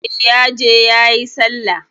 E, ya je yayi Sallah.